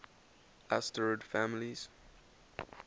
asterid families